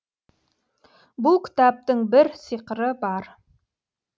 бұл кітаптың бір сиқыры бар